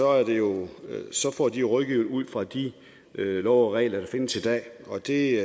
er derude får de jo rådgivning ud fra de love og regler der findes i dag og det